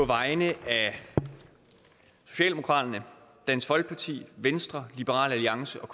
vegne af socialdemokratiet dansk folkeparti venstre liberal alliance og